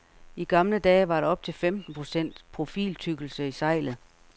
I gamle dage var der op til femten procent profiltykkelse i sejlet.